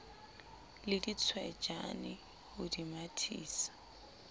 le ditswejane ho le mathisa